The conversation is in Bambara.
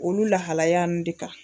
Olu lahalaya in de kan